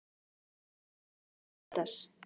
Kendra, hringdu í Villads.